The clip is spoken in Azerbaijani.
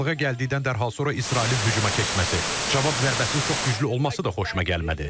Razılığa gəldikdən dərhal sonra İsrailin hücuma keçməsi, cavab zərbəsinin çox güclü olması da xoşuma gəlmədi.